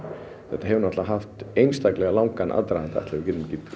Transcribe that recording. þetta hefur náttúrulega haft einstaklega langan aðdraganda ætli við getum ekki